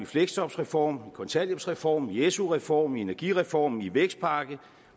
fleksjobreformen i kontanthjælpsreformen i su reformen i energireformen og i vækstpakken